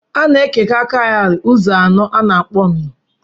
A na-ekewa kaụrị ụzọ anọ a na-akpọ nnụ